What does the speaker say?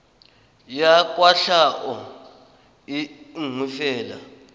ya kwatlhao e nngwe fela